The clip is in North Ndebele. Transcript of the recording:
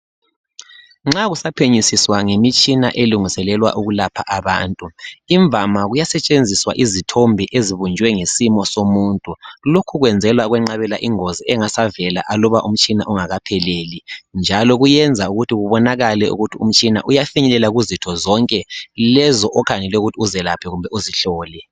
Nxa kusaphenyisiswa ngemitshina elungiselelwa ukulapha abantu, imvama kuyasetshenziswa izithombe ezibunjwe ngesimo somuntu. Lokhu kuyenzelwa ukwenqabela ingozi engasavela aluba umtshina ungakapheleli njalo kuyenza ukuthi kubonakale ukuthi umtshina uyafinyelela kuzitho zonke lezi okhangelele ukuthi uzelaphe kumbe uzihlole.